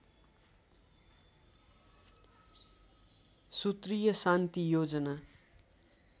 सूत्रीय शान्ति योजना